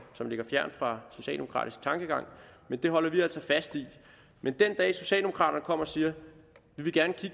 som ligger fjernt fra socialdemokratisk tankegang men det holder vi altså fast i men den dag socialdemokraterne kommer og siger